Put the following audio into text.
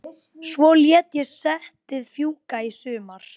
Svo lét ég settið fjúka í sumar.